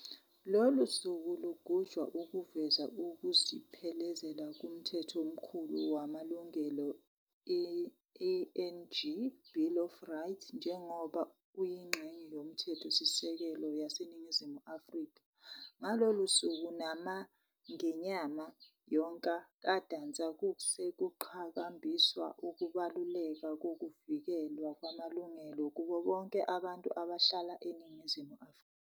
Lolu suku lugujwa ukuveza ukuzibiphezela kuMthetho Omkhulu wamaLungelo, eng-"Bill of Rights", njengoba uyinxenye yoMthetho Sisekelo yase Ningizimu Afrika. Ngalolu suku nomangenyanga yonka kaNdasa kuske kuqhakambiswa ukubaluleka kokuvikelwa kwamalungelo kubo bonke abantu abahlala eNingizimu Afrika.